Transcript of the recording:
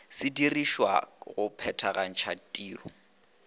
se dirišwago go phethagatša tiro